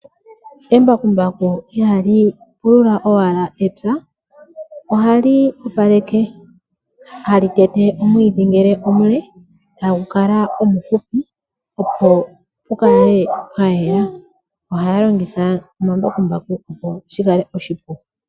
Embakumbaku ihali pulula owala epya pupaleke, hali tete omwiidhi ngele omule tagu kala omuhupi opo pu kale pwayela. Ohaya longitha omambakumbaku opo shikale oshipu.